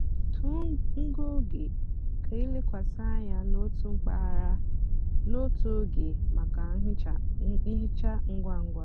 tọọ ngụ ógè kà ílekwasị ányá n'ótú mpaghara n'ótú ógè mákà nhicha ngwa ngwa.